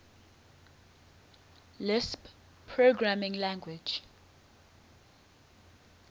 lisp programming language